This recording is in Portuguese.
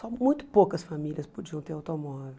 Só muito poucas famílias podiam ter automóvel.